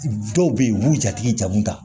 Dɔw bɛ yen u b'u jatigi jamu ta